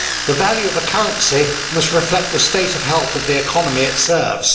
The value of a currency must reflect the state of health of the economy it serves.